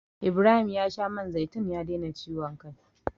Ibrahim ya sha man zaitun ya daina ciwon kai.